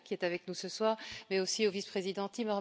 Vella qui est avec nous ce soir, mais aussi au vice président M.